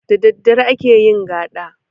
Da daddare ake yin gaɗa